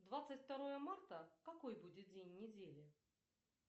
двадцать второе марта какой будет день недели